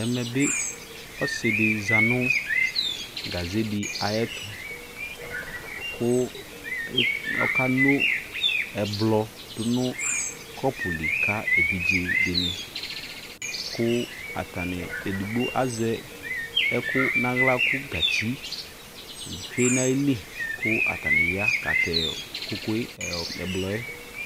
ɛmɛbi ɔsidi zanu gaze ayɛtu ku okeno ɛblɔ dunu cɔpuli ka evijedini ku atani edigbo azɛ ɛku nala ku gatsi twenaili ku atani ya katɛ ɛbloɛ